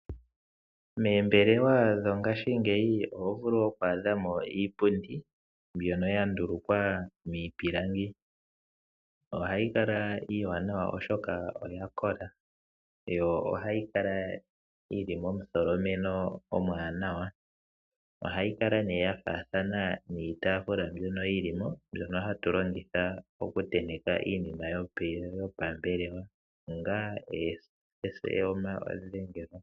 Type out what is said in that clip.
Moombelewa dho ngashingeyi oho vulu oku adhamo iipundi mbyono ya ndulukwa miipilangi . Ohayi kala iiwanawa Oshoka oyakola yo ohayi kala yili momu tholomeno omuwanawa yo ohayi kala ya faathana niitafula mbyono yilimo mbyono hatu longitha oku tenteka iinima yo pambelewa.